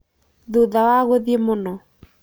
Thutha wa guthiĩ mũno.